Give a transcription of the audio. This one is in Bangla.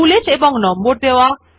বুলেট এবং নম্বর দেওয়া